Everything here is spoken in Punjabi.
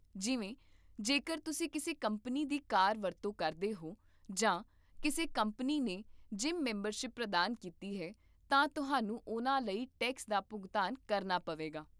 ਜਿਵੇਂ, ਜੇਕਰ ਤੁਸੀਂ ਕਿਸੇ ਕੰਪਨੀ ਦੀ ਕਾਰ ਦੀ ਵਰਤੋਂ ਕਰਦੇ ਹੋ ਜਾਂ ਕਿਸੇ ਕੰਪਨੀ ਨੇ ਜਿਮ ਮੈਂਬਰਸ਼ਿਪ ਪ੍ਰਦਾਨ ਕੀਤੀ ਹੈ, ਤਾਂ ਤੁਹਾਨੂੰ ਉਹਨਾਂ ਲਈ ਟੈਕਸ ਦਾ ਭੁਗਤਾਨ ਕਰਨਾ ਪਵੇਗਾ